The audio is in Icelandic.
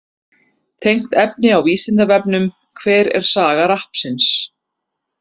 Tengt efni á Vísindavefnum: Hver er saga rappsins?